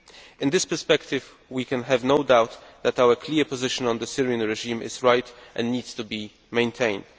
In this perspective, we can have no doubt that our clear position on the Syrian regime is right and needs to be maintained.